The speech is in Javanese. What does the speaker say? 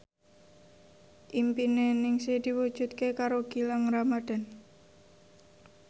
impine Ningsih diwujudke karo Gilang Ramadan